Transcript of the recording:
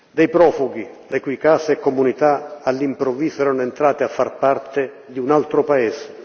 dei profughi le cui case comunità all'improvviso erano entrate a far parte di un altro paese.